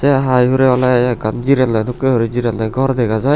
se hiy hure ole ekkan jinne dokki guri jiranne ghor dega jiy.